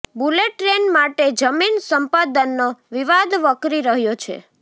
bullet train માટે જમીન સંપાદનનો વિવાદ વકરી રહ્યો છે